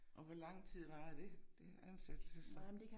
Og hvor lang tid varede det det ansættelsesstop?